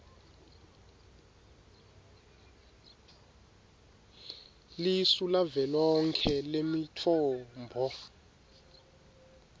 lisu lavelonkhe lemitfombo